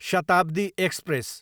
Shatabdi express